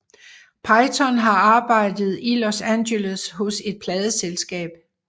Peyton har arbejdet i Los Angeles hos et pladeselskab